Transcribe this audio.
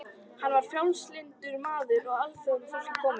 Hann var frjálslyndur maður af alþýðufólki kominn.